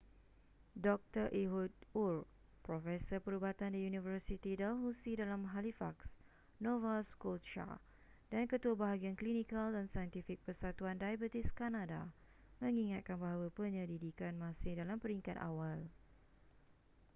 dr ehud ur profesor perubatan di university dalhousie dalam halifax nova scotia dan ketua bahagian klinikal dan saintifik persatuan diabetes kanada mengingatkan bahawa penyelidikan masih dalam peringkat awal